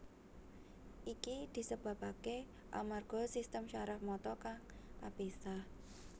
Iki disebabaké amarga sistem syaraf mata kang kapisah